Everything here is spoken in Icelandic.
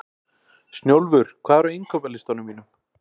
Snjólfur, hvað er á innkaupalistanum mínum?